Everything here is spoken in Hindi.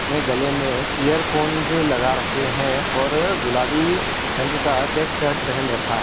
ने गले मे इयरफोन लगा रखे है और गुलाबी रंग का चेक शर्ट पहेन रखा --